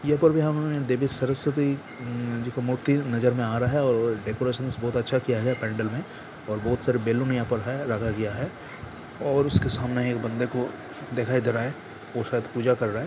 यह पर भी हम देवी सरस्वती एम मूर्ति नजर में आ रहा है और डेकरैशनस बहुत अच्छा किया गया है पंडल में और बहुत सारे बलून यहाँ पर है लगया गया है| और उसके सामने एक बंदे को दिखाई दे रहा है वो शायद पूजा कर रहा है।